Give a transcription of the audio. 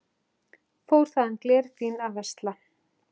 Fór þaðan glerfín að versla.